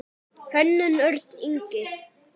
Hönnun: Örn Ingi.